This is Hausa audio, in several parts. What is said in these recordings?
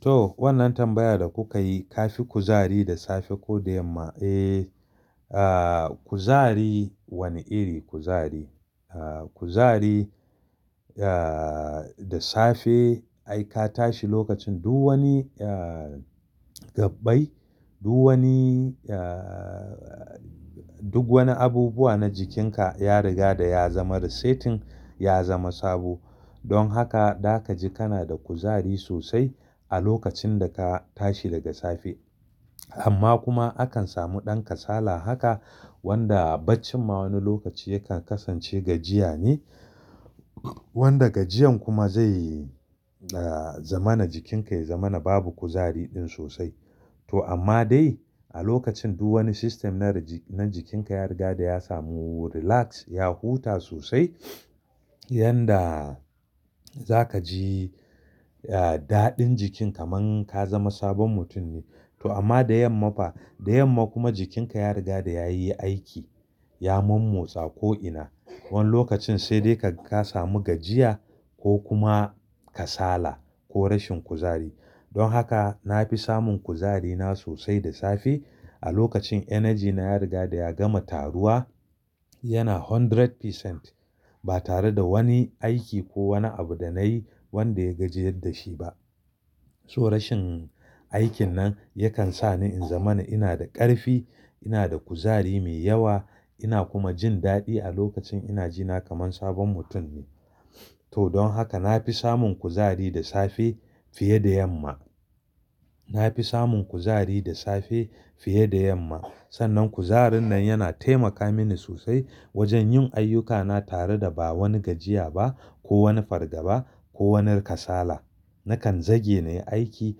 To wannan tambaya da kuka yi, ta fi kuzari da safe ko da yamma? Eh, kuzari, wane irin kuzari? Kuzari da safe ai ka tashi lokacin duk wani gabbai, duk wani duk wani abubuwa na jikinka ya riga da ya zama resetting, ya zama sabo. Don haka, za ka ji kana da kuzari sosai a lokacin da ka tashi daga safe. Amma kuma akan samu ɗan kasala haka wanda bacci ma wani lokaci yakan kasance gajiya ne. Wanda gajiyan kuma zai zama na jikinka ya zama na babu kuzari ɗin sosai. To amma dai a lokacin duk wani system na jikinka ya riga da ya samu relax, ya huta sosai yanda za ka ji daɗin jikin kaman ka zama sabon mutum ne. To amma da yamma fa? Da yamma kuma jikinka ya riga da ya yi aiki, ya mommiotsa ko'ina. Wani lokacin sai dai ka ga ka samu gajjiya ko kuma kasala ko rashin kuzari. Don haka na fi samun kuzari na sosai da safe a lokacin energy na ya riga da ya gama taruwa yana kashi ɗari cikin ɗari ba tare da wani aiki ko wani abu da na yi wanda ya gajiyar da shi ba. So rashin aikin nan yakan sa ni in zama na ina da ƙarfi, ina da kuzari mai yawa, ina kuma jin daɗi a lokacin ina ji na kaman sabon mutum. To don haka na fi samun kuzari da safe fiye da yamma. Na fi samun kuzari da safe fiye da yamma. Sannan kuzarin nan yana taimaka mini sosai wajen yin ayyukana tare da ba wani gajiya ba, ko wani fargaba, ko wani kasala. Nakan zage na yi aiki,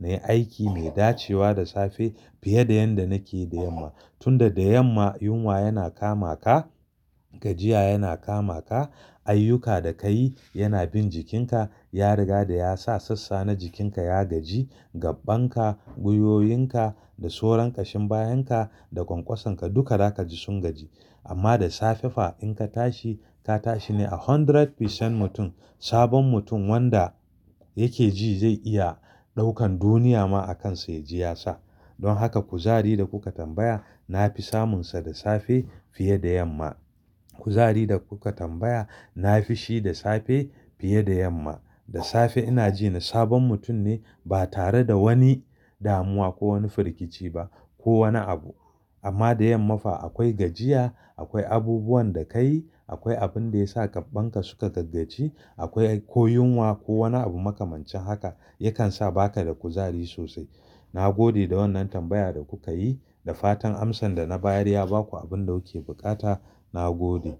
na yi aiki mai dacewa da safe fiye da yanda nake yi da yamma. Tunda da yamma yunwa yana kama ka, gajiya yana kama ka, ayyuka da ka yi yana bin jikinka ya riga da ya sa sassa na jikinka ya gaji. Gabbanka, gwiwowinka da sauran ƙashin bayanka da ƙwanƙwasonka duka za ka ji sun gaji. Amma da safe fa in ka tashi, ka tashi ne a kashi ɗari cikin ɗari mutum, sabon mutum wanda yake ji zai iya ɗaukan duniya ma a kansa ya jiyasa. Don haka kuzari da kuka tambaya na fi samunsa da safe fiye da yamma. Kuzari da kuka tambaya na fi shi da safe fiye da yamma. Da safe ina ji na sabon mutum ne ba tare da wani damuwa ko wani firgici ba ko wani abu. Amma da yamma fa akwai gajiya, akwai abubuwan da ka yi, akwai abin da ya sa gabbanka suka gaggaci, akwai ko yunwa ko wani abu makamancin haka yakan sa ba ka da kuzari sosai. Na gode da wannan tambayar da kuka yi da fatan amsan da na bayar ya baku abin da kuke buƙata. Na gode.